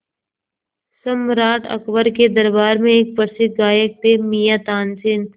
सम्राट अकबर के दरबार में एक प्रसिद्ध गायक थे मियाँ तानसेन